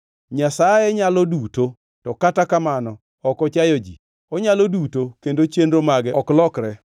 “Nyasaye nyalo duto, to kata kamano ok ochayo ji; onyalo duto kendo chenro mage ok lokre.